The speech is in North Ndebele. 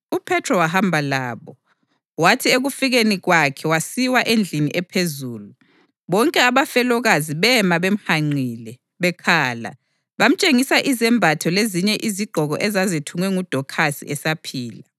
UPhethro wahamba labo, wathi ekufikeni kwakhe wasiwa endlini ephezulu. Bonke abafelokazi bema bemhanqile, bekhala, bemtshengisa izembatho lezinye izigqoko ezazithungwe nguDokhasi esaphila.